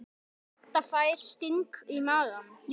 Edda fær sting í magann.